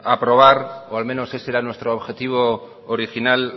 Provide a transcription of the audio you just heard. aprobar o al menos ese era nuestro objetivo original